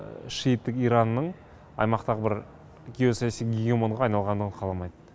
шейіттік иранның аймақтағы бір геосаяси гигимонға айналғанын қаламайды